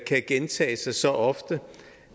kan gentage sig så ofte